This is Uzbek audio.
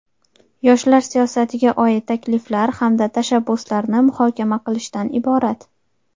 yoshlar siyosatiga oid takliflar hamda tashabbuslarni muhokama qilishdan iborat.